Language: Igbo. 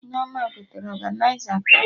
Nneoma gotere ọganịza tebụl